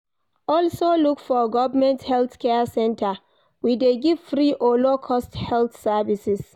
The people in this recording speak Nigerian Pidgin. Also look for government health care center we de give free or low cost health services